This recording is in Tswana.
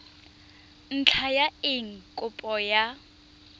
ntlha ya eng kopo ya